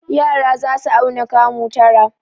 Yara za su auna kamu tara.